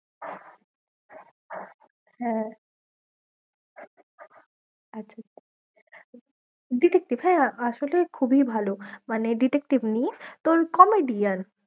হ্যাঁ আচ্ছা আচ্ছা detective হ্যাঁ, আসলে খুবই ভালো, মানে detective নিয়ে তোর comedian